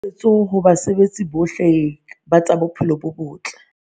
Kgoeletso ho basebeletsi bohle ba tsa bophelo bo botle